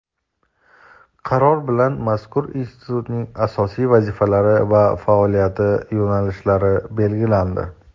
Qaror bilan mazkur institutning asosiy vazifalari va faoliyat yo‘nalishlari belgilandi.